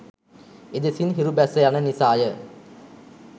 එදෙසින් හිරු බැස යන නිසා ය.